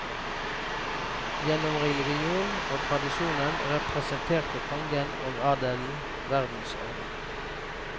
Gjennom religionen og tradisjonen representerte kongen og adelen verdensordenen.